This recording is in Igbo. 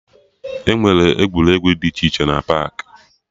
Enwere egwuregwu dị iche iche na paakị